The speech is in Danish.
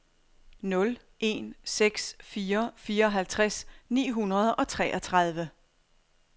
nul en seks fire fireoghalvtreds ni hundrede og treogtredive